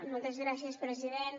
moltes gràcies president